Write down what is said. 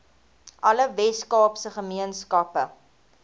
alle weskaapse gemeenskappe